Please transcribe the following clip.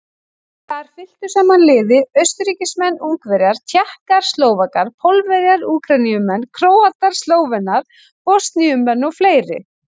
Þar fylktu saman liði Austurríkismenn, Ungverjar, Tékkar, Slóvakar, Pólverjar, Úkraínumenn, Króatar, Slóvenar, Bosníumenn og fleiri.